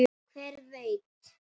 Hver veit!